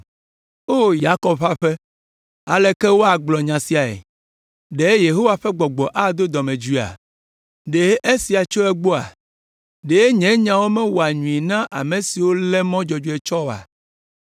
O Yakob ƒe aƒe, aleke woagblɔ nya siae? “Ɖe Yehowa ƒe gbɔgbɔ ado dɔmedzoea? Ɖe esiawo tso egbɔa? “Ɖe nye nyawo mewɔa nyui na ame siwo lé mɔ dzɔdzɔe tsɔ oa?